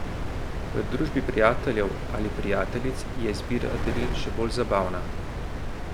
V družbi prijateljev ali prijateljic je izbira daril še bolj zabavna.